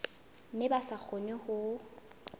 mme ba sa kgone ho